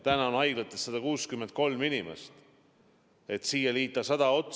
Täna on haiglates 163 inimest ja kui siia liita 100 otsa ...